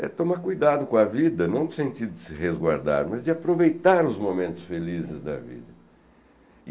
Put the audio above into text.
É tomar cuidado com a vida, não no sentido de se resguardar, mas de aproveitar os momentos felizes da vida.